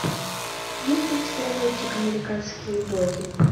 есть ли у тебя мультик американские боги